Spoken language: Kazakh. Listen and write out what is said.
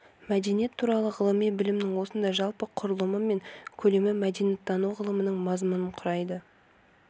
мәдениет туралы ғылыми білімнің осындай жалпы құрылымы мен көлемі мәдениеттану ғылымының мазмұнын құрайды